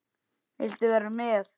Viltu vera með?